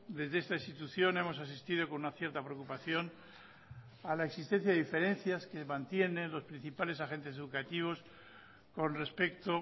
desde esta institución hemos asistido con una cierta preocupación a la existencia de diferencias que mantienen los principales agentes educativos con respecto